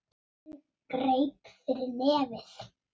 Hún greip fyrir nefið.